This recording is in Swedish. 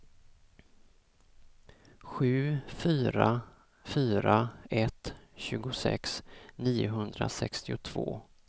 sju fyra fyra ett tjugosex niohundrasextiotvå